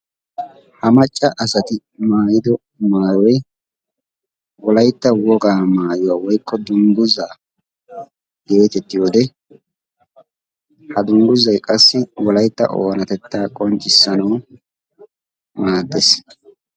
Ha macca asay maayido maayoy wolaytta wogaay maayuwaa woykko dungguzza geetettiyide ha dungguzzay wolaytta oonatettaa qonccisanawu maaddees.